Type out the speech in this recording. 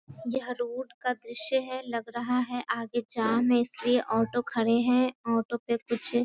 यह रोड का दृश्य है लग रहा है आगे जाम है इसलिए ऑटो खड़े है ऑटो पे कुछ --